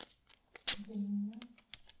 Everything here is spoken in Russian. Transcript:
для меня